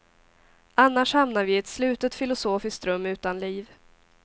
Annars hamnar vi i ett slutet filosofiskt rum utan liv.